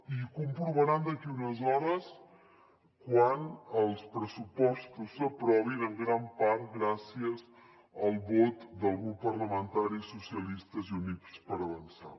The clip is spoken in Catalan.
i ho comprovaran d’aquí a unes hores quan els pressupostos s’aprovin en gran part gràcies al vot del grup parlamentari socialistes i units per avançar